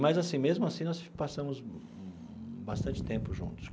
Mas assim, mesmo assim, nós passamos bastante tempo juntos.